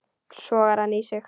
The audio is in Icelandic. Sogar hann í sig.